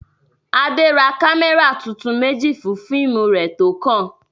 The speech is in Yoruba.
Adé ra kámẹ́rà tuntun méjì fún fíìmù rẹ̀ tó kàn.